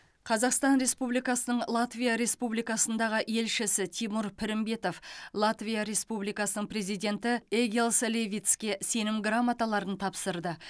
қазақстан республикасының латвия республикасындағы елшісі тимур пірімбетов латвия республикасының президенті эгилс левитске сенім грамоталарын тапсырды